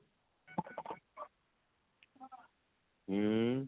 ଉଁ